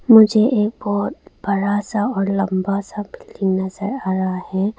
मुझे एक बहुत बड़ा सा और लंबा सा बिल्डिंग नजर आया है।